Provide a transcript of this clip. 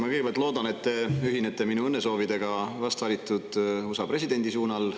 Ma kõigepealt loodan, et te ühinete minu õnnesoovidega vast valitud USA presidendi puhul.